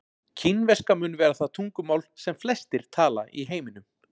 Kínverska mun vera það tungumál sem flestir tala í heiminum.